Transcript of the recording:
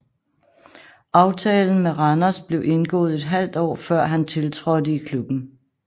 Aftalen med Randers blev indgået et halvt år før han tiltrådte i klubben